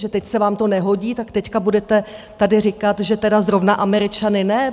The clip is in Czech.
Že teď se vám to nehodí, tak teď budete tady říkat, že tedy zrovna Američany ne?